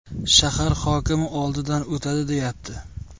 shahar hokimi oldidan o‘tadi deyapti.